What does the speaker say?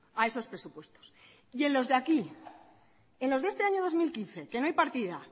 a esos presupuestos y en los de aquí en los de este año dos mil quince que no hay partida